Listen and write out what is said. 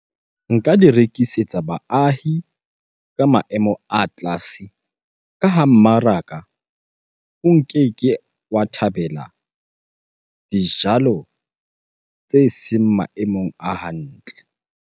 Nka di rekisetsa baahi ka maemo a tlase. Ka ha mmaraka o nkeke wa thabela dijalo tse seng maemong a hantle.